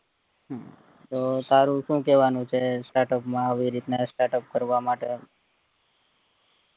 તો તારું શું કહેવાનું છે startup માં આવી રીતના આવી રીતે startup કરવા માટે